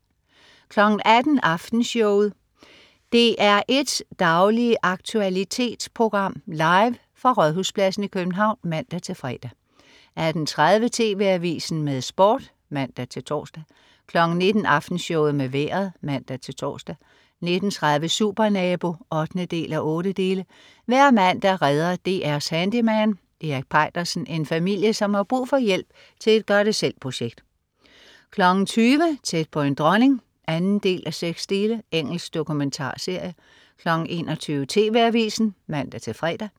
18.00 Aftenshowet. DR1s daglige aktualitetsprogram, live fra Rådhuspladsen i København (man-fre) 18.30 TV Avisen med Sport (man-tors) 19.00 Aftenshowet med Vejret (man-tors) 19.30 Supernabo 8:8. Hver mandag redder DR's handyman Erik Peitersen en familie, som har brug for hjælp til et gør det selv-projekt 20.00 Tæt på en dronning 2:6. Engelsk dokumentarserie 21.00 TV Avisen (man-fre)